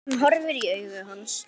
Hún horfir í augu hans.